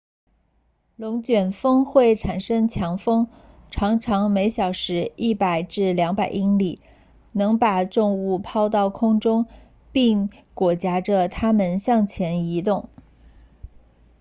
龙卷风会产生强风常常每小时 100-200 英里能把重物抛到空中并裹挟着它们向前移动